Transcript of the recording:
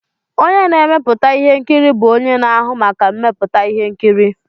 Onye na-emepụta ihe nkiri bụ onye na-ahụ maka mmepụta ihe nkiri.